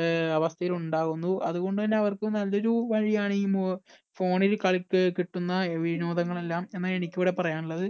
അഹ് അവസ്ഥയിൽ ഉണ്ടാകുന്നു. അതുകൊണ്ടുതന്നെ അവർക്കും നല്ലൊരു വഴിയാണ് ഈ മൊ phone ൽ കളി കിട്ടുന്ന വിനോദങ്ങളെല്ലാം എന്നാണ് എനിക്ക് ഇവിടെ പറയാനുള്ളത്.